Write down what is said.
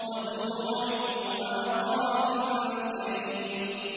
وَزُرُوعٍ وَمَقَامٍ كَرِيمٍ